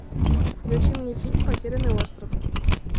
включи мне фильм потерянный остров